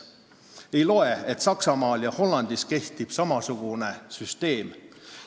See ei loe, et Saksamaal ja Hollandis kehtib samasugune süsteem.